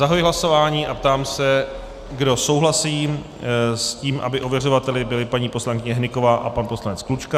Zahajuji hlasování a ptám se, kdo souhlasí s tím, aby ověřovateli byli paní poslankyně Hnyková a pan poslanec Klučka.